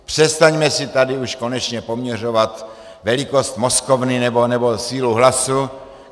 Přestaňme si tady už konečně poměřovat velikost mozkovny nebo sílu hlasu.